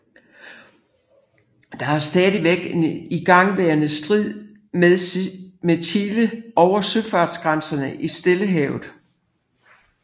Der er stadig en igangværende strid med Chile over søfartsgrænser i Stillehavet